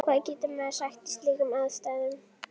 Hvað getur maður sagt í slíkum aðstæðum?